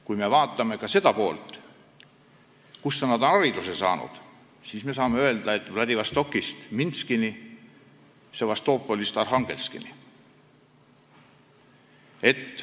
Kui me vaatame ka seda, kus nad on hariduse saanud, siis saame öelda, et Vladivostokist Minskini ja Sevastopolist Arhangelskini.